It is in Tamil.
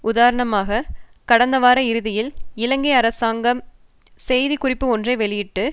உதாரணமாக கடந்த வார இறுதியில் இலங்கை அராசங்கம் செய்தி குறிப்பு ஒன்றை வெளியிட்டு